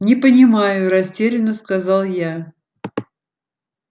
не понимаю растерянно сказал я